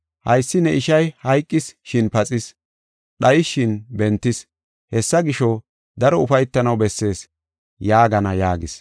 Haysi ne ishay hayqis, shin paxis; dhayis, shin bentis. Hessa gisho, daro ufaytanaw bessees’ yaagana” yaagis.